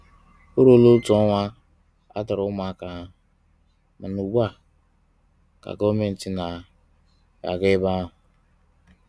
O ruola otu ọnwa atọrọ ụmụaka ahụ, mana ugbu a ka Gọọmenti na-aga ebe ahụ.